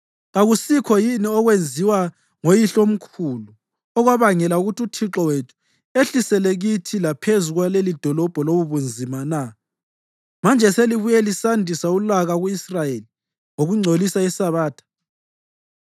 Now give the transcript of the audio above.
Kakusikho yini okwenziwa ngoyihlomkhulu, okwabangela ukuthi uThixo wethu, ehlisele kithi laphezu kwalelidolobho lobubunzima na? Manje selibuye lisandisa ulaka ku-Israyeli ngokugcolisa iSabatha.”